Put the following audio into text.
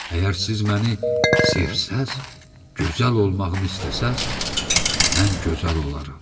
Əgər siz məni sevsəz, gözəl olmağımı istəsəz, mən gözəl olaram.